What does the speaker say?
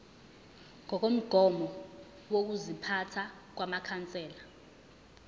ngokomgomo wokuziphatha wamakhansela